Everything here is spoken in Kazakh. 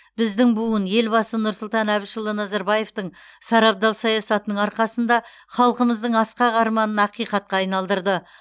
біздің буын елбасы нұрсұлтан әбішұлы назарбаевтың сарабдал саясатының арқасында халқымыздың асқақ арманын ақиқатқа айналдырды